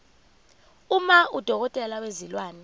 uma udokotela wezilwane